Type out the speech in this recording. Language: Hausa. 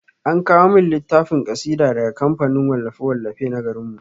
Ana kawo min littafin kasidu daga kamfanin wallafe-wallafe na garin mu.